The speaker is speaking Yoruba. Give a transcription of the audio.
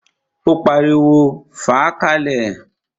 Ó pariwo, "fàá ka lẹ̀!"